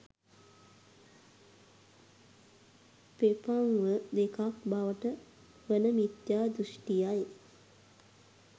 ප්‍රපංව දෙකක් බවට වන මිත්‍යා දෘෂ්ඨියයි.